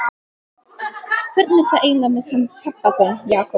Hvernig er það eiginlega með hann pabba þinn, Jakob?